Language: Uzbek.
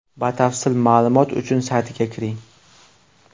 Batafsil ma’lumot uchun saytiga kiring!